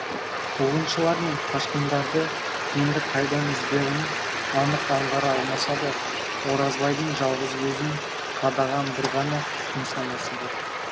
қуғыншылар мен қашқындарды енді қайдан іздерін анық аңғара алмаса да оразбайдың жалғыз көзін қадаған бір ғана нысанасы бар